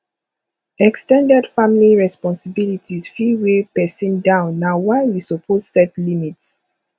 ex ten ded family responsibilities fit weigh pesin down na why we suppose set limits